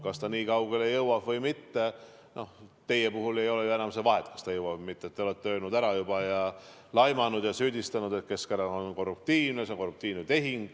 Kas see nii kaugele jõuab või mitte – noh, teie puhul ei ole ju seal enam vahet, kas ta jõuab või mitte, te olete juba öelnud selle ära, laimanud ja süüdistanud, et Keskerakond on korruptiivne, et see on korruptiivne tehing.